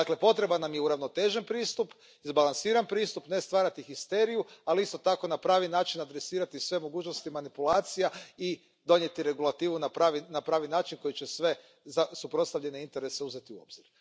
Dakle, potreban nam je uravnotežen pristup, izbalansiran pristup, ne stvarati histeriju, ali isto tako na pravi način adresirati sve mogućnosti manipulacija i donijeti regulativu na pravi način koji će sve suprotstavljene interese uzeti u obzir.